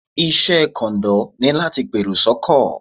Iṣẹ́ kọ̀ǹdọ́ ni láti pèrò sọ́kọ̀.